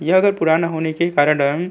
यह घर पुराना होने के कारण --